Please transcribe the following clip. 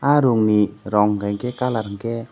arung ni rong kaike kalar unke.